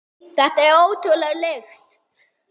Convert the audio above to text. Þetta er ótrúleg lykt.